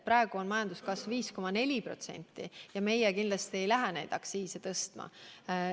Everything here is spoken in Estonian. Praegu on majanduskasv 5,4% ja meie kindlasti ei lähe aktsiise tõstma.